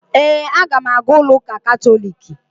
Ee, aga m aga ụlọụka katọliiki